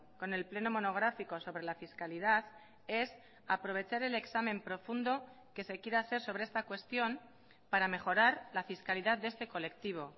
con el pleno monográfico sobre la fiscalidad es aprovechar el examen profundo que se quiere hacer sobre esta cuestión para mejorar la fiscalidad de este colectivo